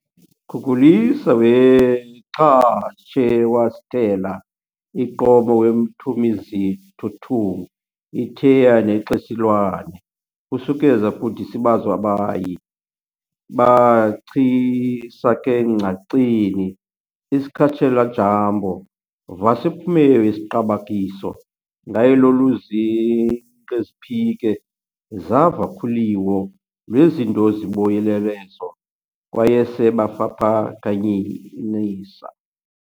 Kukulisa weXaChewasitela iQomo weMtumizithothung' iTheya neXesihlwane kusukeza kudisibazo-abayi bachisakengcaceni isakhets'Ijambo vhasePhumeyo yeqibakiso ngayeloluzinqeziphike zavakhuliwo lweZindozibuyelezo kwayeseFapakanyanisa